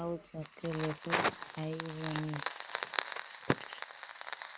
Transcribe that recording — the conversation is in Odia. ଆଉ ଚକଲେଟ ଖାଇବନି